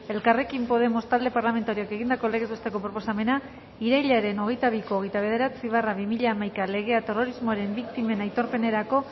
elkarrekin podemos talde parlamentarioak egindako legez besteko proposamena irailaren hogeita biko hogeita bederatzi barra bi mila hamaika legea terrorismoaren biktimen aitorpenerako